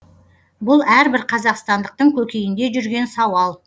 бұл әрбір қазақстандықтың көкейінде жүрген сауал